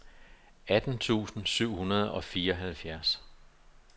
atten tusind syv hundrede og fireoghalvfjerds